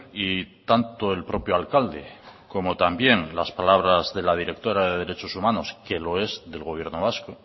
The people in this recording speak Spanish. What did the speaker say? y tanto el propio alcalde como también las palabras de la directora de derechos humanos que lo es del gobierno vasco